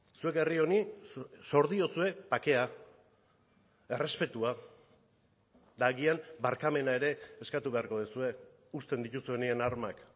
zuek herri honi zor diozue bakea errespetua eta agian barkamena ere eskatu beharko duzue uzten dituzuenean armak